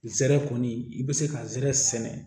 Zɛrɛ kɔni i bɛ se ka zɛrɛ sɛnɛ